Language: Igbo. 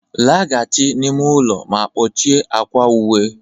laghachi n'ime ụlọ ma kpọchie akwa uwe